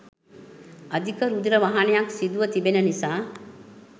අධික රුධිර වහනයක් සිදුව තිබෙන නිසා